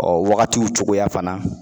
Ɔ wagatiw cogoya fana